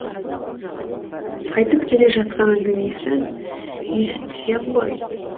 айтып келе жатқан әңгімесін естісең ғой